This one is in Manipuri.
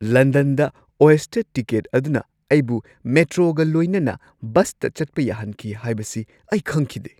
ꯂꯟꯗꯟꯗ ꯑꯣꯏꯁꯇꯔ ꯇꯤꯀꯦꯠ ꯑꯗꯨꯅ ꯑꯩꯕꯨ ꯃꯦꯇ꯭ꯔꯣꯒ ꯂꯣꯏꯅꯅ ꯕꯁꯇ ꯆꯠꯄ ꯌꯥꯍꯟꯈꯤ ꯍꯥꯏꯕꯁꯤ ꯑꯩ ꯈꯪꯈꯤꯗꯦ꯫